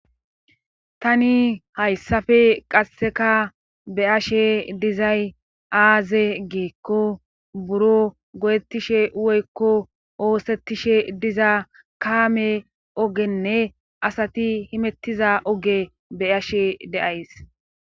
Tani hayssafe qasseka be ashe dizay aaze giekko buro godettishe woykko oosettishe diza kaame ogenne asati himettiza oge be ashe deays.